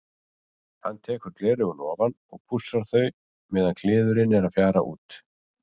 Hann tekur gleraugun ofan og pússar þau meðan kliðurinn er að fjara út.